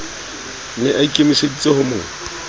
ne a ikemeseditse ho mo